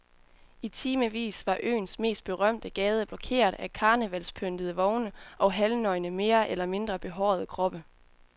I timevis var øens mest berømte gade blokeret af karnevalspyntede vogne og halvnøgne mere eller mindre behårede kroppe.